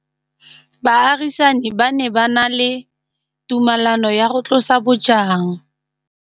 Baagisani ba ne ba na le tumalanô ya go tlosa bojang.